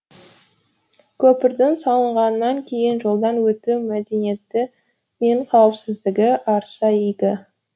көпірдің салынғаннан кейін жолдан өту мәдниеті мен қауіпсіздігі артса игі